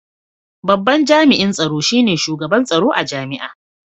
Babban Jami’in Tsaro shi ne Shugaban Tsaro a Jami’a.